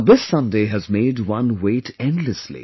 But this Sunday has made one wait endlessly